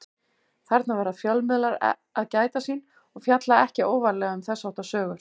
Þarna verða fjölmiðlar að gæta sín og fjalla ekki óvarlega um þess háttar sögur.